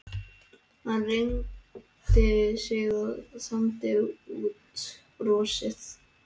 Hann reigði sig og þandi út brjóstið.